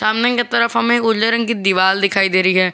सामने की तरफ हमें उजले रंग की दीवार दिखाई दे रही है।